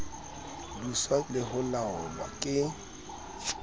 buswa le ho laolwa ke